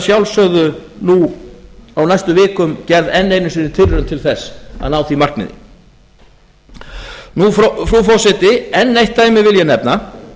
sjálfsögðu nú á næstu vikum gerð enn einu sinni tilraun til þess að ná því markmiði frú forseti enn eitt dæmi vil ég nefna